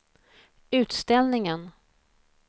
utställningen